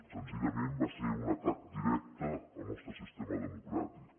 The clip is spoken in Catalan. senzillament va ser un atac directe al nostre sistema democràtic